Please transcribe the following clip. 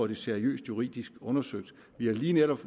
det seriøst juridisk undersøgt vi har lige netop